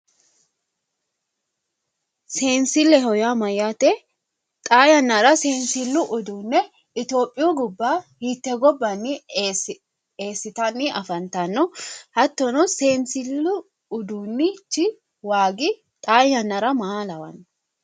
Seenisilleho yaa Mayyaate xaa yannara seenisillu uduune itiyophiyu gobaa hite gobbanni eesinani afanitanno? Hattono seenisillu uduunich xaa yannara maa lawonno?